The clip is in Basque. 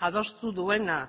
adostu duena